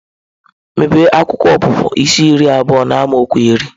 Mepee akwụkwọ Ọpụpụ isi iri abụọ n’amaokwu iri.